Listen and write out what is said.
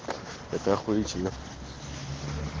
это охуительно